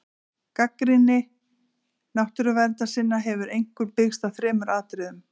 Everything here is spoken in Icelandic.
Gagnrýni náttúruverndarsinna hefur einkum byggst á þremur atriðum.